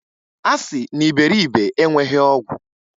A sị na iberibe enweghi ọgwụ.